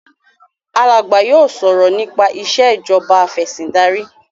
Alagba yóò sọrọ nípa Ìṣèjọba Afẹ̀sìndarí